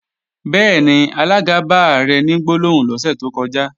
Bẹ́ẹ̀ni, alága bá Ààrẹ ní gbólóhùn lọ́sẹ̀ tó kọjá